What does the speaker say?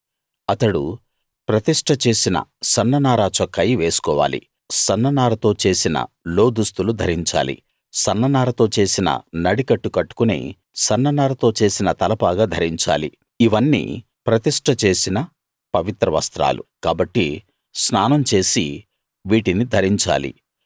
అతడు ప్రతిష్ట చేసిన సన్న నార చొక్కాయి వేసుకోవాలి సన్న నారతో చేసిన లోదుస్తులు ధరించాలి సన్న నారతో చేసిన నడికట్టు కట్టుకుని సన్న నారతో చేసిన తలపాగా ధరించాలి ఇవన్నీ ప్రతిష్ట చేసిన పవిత్ర వస్త్రాలు కాబట్టి స్నానం చేసి వీటిని ధరించాలి